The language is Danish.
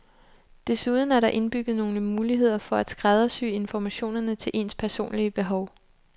Desuden er der indbygget nogle muligheder for at skræddersy informationerne til ens personlige behov.